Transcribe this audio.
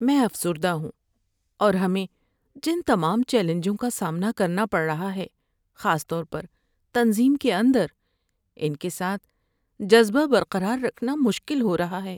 میں افسردہ ہوں اور ہمیں جن تمام چیلنجوں کا سامنا کرنا پڑ رہا ہے، خاص طور پر تنظیم کے اندر، ان کے ساتھ جذبہ برقرار رکھنا مشکل ہو رہا ہے۔